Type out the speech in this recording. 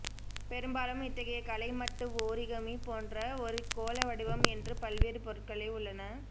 பெரும்பாலும் இத்தகைய கலை மட்டு ஓரிகமி போன்ற ஒரு கோள வடிவம் என்று பல்வேறு பொருட்களை உள்ளன